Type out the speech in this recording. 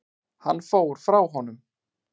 Hann fór frá honum.